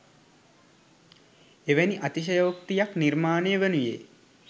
එවැනි අතිශයෝක්තියක් නිර්මාණය වනුයේ